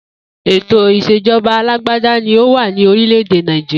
Ètò ìs̩èjo̩ba alágbádá ni ó wà ní orílè̩-èdè Nàìjíríà